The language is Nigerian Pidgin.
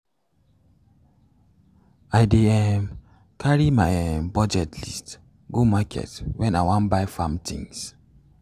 i dey um carry my um budget list go market when i wan buy farm things.